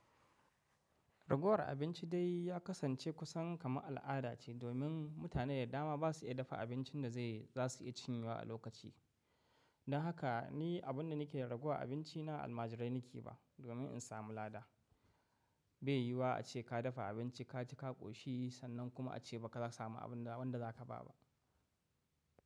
Raguwar abinci dai ya kasance kusan kama al’ada ce domin mutane da dama ba su iya dafa abincin da zai za su iya cinyewa a lokaci. Don haka ni abin da nake raguwa abinci na almajirai nake ba domin in samu lada. Bai yiwuwa a ce ka dafa abinci ka ci ka koshi sannan kuma a ce ba za ka samu abin da wan da za ka ba ba.